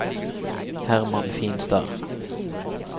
Hermann Finstad